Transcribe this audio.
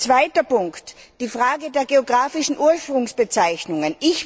Zweiter Punkt die Frage der geografischen Ursprungsbezeichnungen.